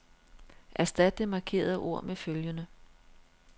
Erstat det markerede ord med følgende.